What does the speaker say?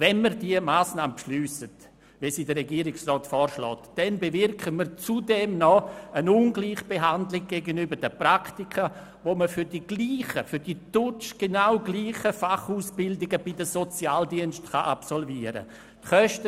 Wenn wir diese Massnahme wie vom Regierungsrat vorgeschlagen beschliessen, bewirken wir zudem noch eine Ungleichbehandlung gegenüber den Praktika, die man für die genau gleichen Fachausbildungen bei den Sozialdiensten absolvieren kann.